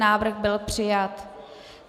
Návrh byl přijat.